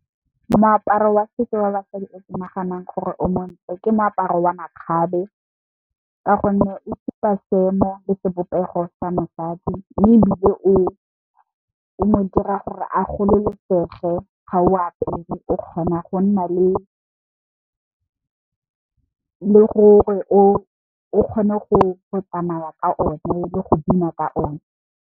Moaparo wa setso wa basadi o ke naganang gore o montle ke moaparo wa makgabe, ka gonne o bopa seemo le sebopego sa mosadi. Mme ebile o, o modira gore a gololosege ga o apere o kgona go nna le gore o kgone go tsamaya ka one le go bina ka o ne.